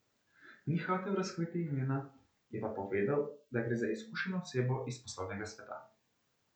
Ni hotel razkriti imena, je pa povedal, da gre za izkušeno osebo iz poslovnega sveta.